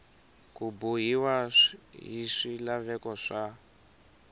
ku bohiwa hi swilaveko swa